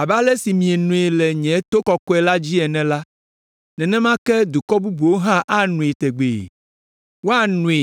Abe ale si mienoe le nye to kɔkɔe la dzi ene la, nenema ke dukɔ bubuwo hã anoe tegbee; woanoe,